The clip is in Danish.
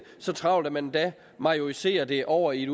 så travlt at man endda majoriserer det over i